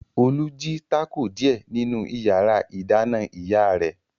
Olú jí tákò díẹ̀ nínú ìyàrá-ìdáná ìyá rẹ̀.